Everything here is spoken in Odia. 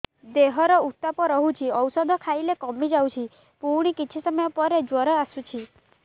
ଦେହର ଉତ୍ତାପ ରହୁଛି ଔଷଧ ଖାଇଲେ କମିଯାଉଛି ପୁଣି କିଛି ସମୟ ପରେ ଜ୍ୱର ଆସୁଛି